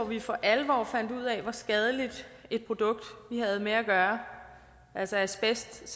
vi for alvor fandt ud af hvor skadeligt et produkt vi havde med at gøre altså asbest